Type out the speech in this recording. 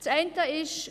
Das eine ist: